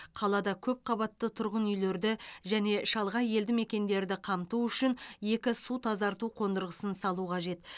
қалада көп қабатты тұрғын үйлерді және шалғай елді мекендерді қамту үшін екі су тазарту қондырғысын салу қажет